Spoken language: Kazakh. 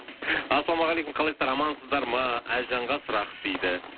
ассалаумағалейкум қалайсыздар амансыздар ма әлжанға сұрақ дейді